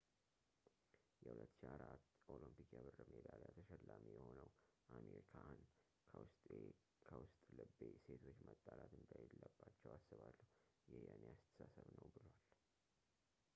የ2004 ኦሎምፒክ የብር ሜዳሊያ ተሸላሚ የሆነው አሚር ካሃን ከውስጥ ልቤ ሴቶች መጣላት እንደሌለባቸው አስባለው ይህ የኔ አስተሳሰብ ነው ብሏል